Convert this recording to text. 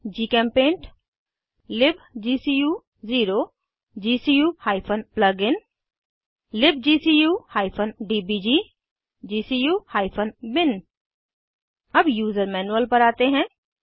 जीचेम्पेंट लिब्गकू0 gcu plugin libgcu DBG gcu bin अब user manual पर आते हैं